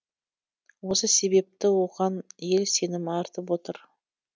осы себепті оған ел сенім артып отыр